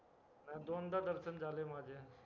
दोनदा दर्शन झाले माझे